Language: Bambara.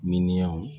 Miliyɔn